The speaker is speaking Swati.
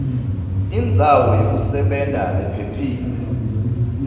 indzawo yekusebenta lephephile